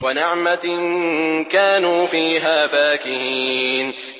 وَنَعْمَةٍ كَانُوا فِيهَا فَاكِهِينَ